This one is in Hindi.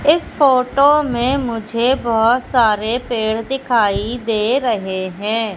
इस फोटो में मुझे बहोत सारे पेड़ दिखाई दे रहे हैं।